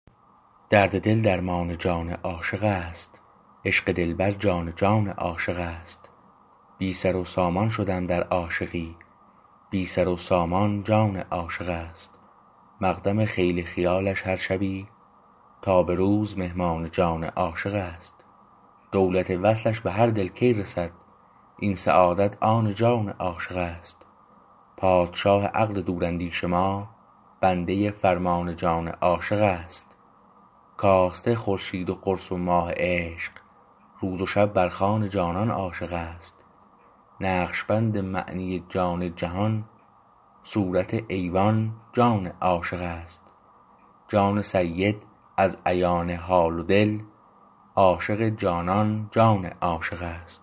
درد دل درمان جان عاشق است عشق دلبر جان جان عاشق است بی سر و سامان شدم در عاشقی بی سر و سامان جان عاشق است مقدم خیل خیالش هر شبی تا به روز مهمان جان عاشق است دولت وصلش به هر دل کی رسد این سعادت آن جان عاشق است پادشاه عقل دور اندیش ما بنده فرمان جان عاشق است کاسته خورشید و قرص و ماه عشق روز و شب بر خوان جانان عاشق است نقشبند معنی جان جهان صورت ایوان جان عاشق است جان سید از عیان حال و دل عاشق جانان جان عاشق است